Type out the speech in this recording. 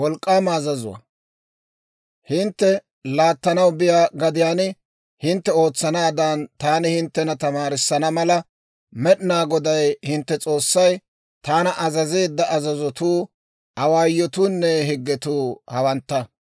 «Hintte laattanaw biyaa gadiyaan hintte ootsanaadan taani hinttena tamaarissana mala, Med'inaa Goday hintte S'oossay taana azazeedda azazotuu awaayotuunne higgetuu hawantta.